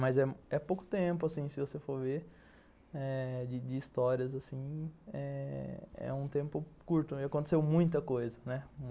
Mas é pouco tempo, assim, se você for ver, de histórias, assim, é um tempo curto e aconteceu muita coisa, né?